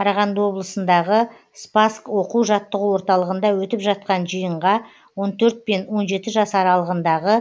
қарағанды облысындағы спасск оқу жаттығу орталығында өтіп жатқан жиынға он төрт пен он жеті жас аралығындағы